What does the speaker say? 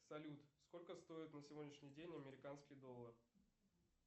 салют сколько стоит на сегодняшний день американский доллар